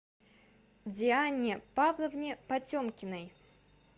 диане павловне потемкиной